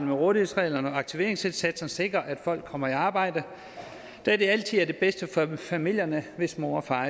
rådighedsreglerne og aktiveringsindsatsen sikre at folk kommer i arbejde da det altid er det bedste for familierne hvis mor og far